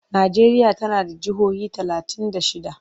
Najeriya tana da jihohi talatin da shidda.